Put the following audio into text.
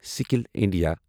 skill India